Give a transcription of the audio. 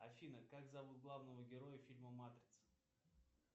афина как зовут главного героя фильма матрица